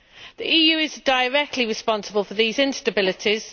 The EU is directly responsible for these instabilities.